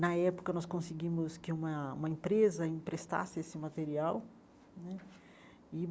Na época, nós conseguimos que uma uma empresa emprestasse esse material né e.